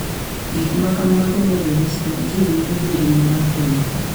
Gik ma kamago medore sama ji ng’iyo gi ngima mar boma